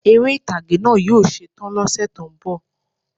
Eré ìtàgé náà yí ó setán lọ́sẹ̀ tó ń bò